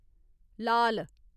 लाल